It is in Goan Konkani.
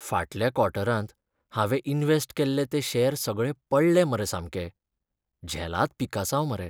फाटल्या क्वॉर्टरांत हांवें इन्वॅस्ट केल्ले ते शॅर सगळे पडले मरे सामके. झेलाद पिकासांव मरे.